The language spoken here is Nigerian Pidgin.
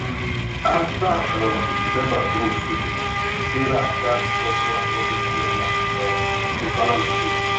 after um december groove finish sarah gatz shuffle her budget wella um to balance tins